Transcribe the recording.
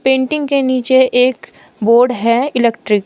Painting के नीचे एक बोर्ड है इलेक्ट्रिक ।